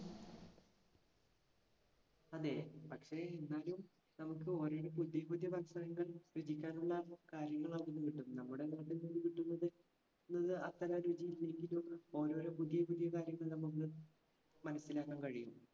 അതെ. പക്ഷെ എന്നാലും നമ്മുക്ക് ഓരോരോ പുതിയപുതിയ ഭക്ഷണങ്ങൾ രുചിക്കാനുള്ള കാര്യങ്ങൾ അവിടുന്ന് കിട്ടും. നമ്മുടെ നാട്ടിൽനിന്നും കിട്ടുന്നത് അത്ര രുചിയില്ലെങ്കിലും ഓരോരോ പുതിയപുതിയ കാര്യങ്ങൾ നമ്മുക്ക് മനസ്സിലാക്കാൻ കഴിയും.